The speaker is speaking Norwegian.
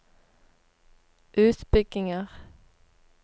utbygginger